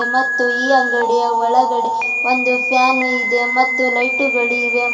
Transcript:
ಮತ್ತು ಈ ಅಂಗಡಿಯ ಒಳಗೆ ಒಂದು ಫ್ಯಾನು ಇದೆ ಮತ್ತು ಲೈಟುಗಳಿವೆ .